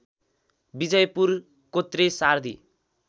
विजयपुर कोत्रे सार्दी